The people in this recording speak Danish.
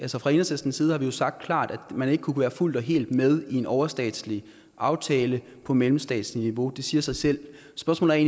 altså fra enhedslistens side har vi jo sagt klart at man ikke kunne være fuldt og helt med i en overstatslig aftale på mellemstatsligt niveau det siger sig selv spørgsmålet er